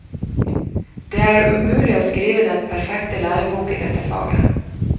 Det er umulig å skrive den perfekte lærebok i dette faget.